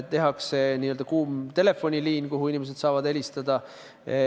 Avatakse n-ö kuum telefoniliin, kuhu inimesed saavad helistada.